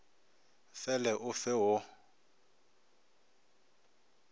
fe le o fe wo